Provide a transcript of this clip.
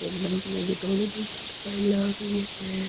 ए लम्बी लम्बी धोली धोली सी तो काई लाग रही है।